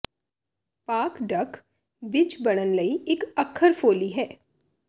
ਪਾਕ ਡਕ ਬਿੱਜ ਬੰਨਣ ਲਈ ਇੱਕ ਅੱਖਰ ਫੋਲੀ ਹੈ